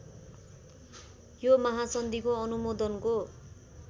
यो महासन्धिको अनुमोदनको